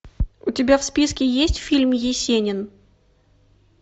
у тебя в списке есть фильм есенин